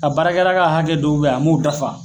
A ka baarakɛla ka hakɛ dɔw be yen a m'o dafa